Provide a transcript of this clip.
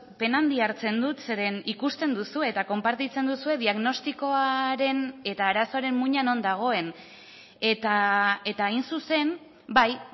pena handia hartzen dut zeren ikusten duzue eta konpartitzen duzue diagnostikoaren eta arazoaren muina non dagoen eta hain zuzen bai